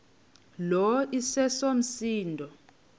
lo iseso msindo